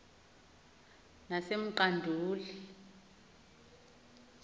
sasemqanduli